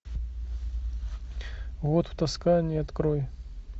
год в тоскане открой